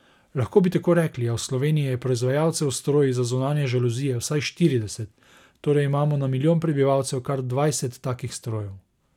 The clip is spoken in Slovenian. Lahko bi tako rekli, a v Sloveniji je proizvajalcev s stroji za zunanje žaluzije vsaj štirideset, torej imamo na milijon prebivalcev kar dvajset takih strojev.